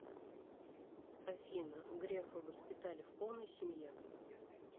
афина грефа воспитали в полной семье